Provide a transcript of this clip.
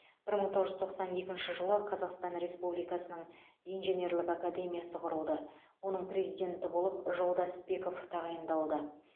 бір мың тоғыз жүз тоқсан екінші жылы қазақстан республикасының инженерлік академиясы құрылды оның президенті болып жолдасбеков тағайындалды